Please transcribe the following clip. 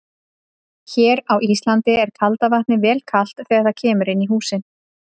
Hér á Íslandi er kalda vatnið vel kalt þegar það kemur inn í húsin.